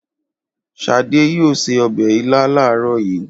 Ṣadé yóò se ọbẹ̀ ilá láàárọ̀ yìí.